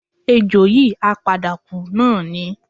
Ejò yìí á padà kú náà ni